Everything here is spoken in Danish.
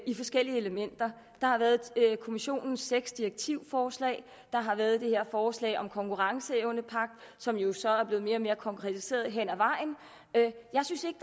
forskellige elementer der har været kommisionens seks direktivforslag og der har været det her forslag om en konkurrenceevnepagt som jo så er blevet mere og mere konkretiseret hen ad vejen jeg synes ikke